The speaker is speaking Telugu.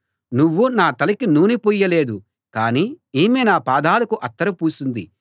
నువ్వు నా తలకి నూనె పూయలేదు కానీ ఈమె నా పాదాలకు అత్తరు పూసింది